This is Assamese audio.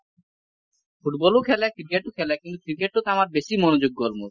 football ও খেলে ক্ৰিকেট ও খেলে কিন্তু ক্ৰিকেট টো আমাৰ বেছি মনোযোগ গল মোৰ ।